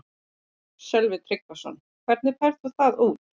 Sölvi Tryggvason: Hvernig færð þú það út?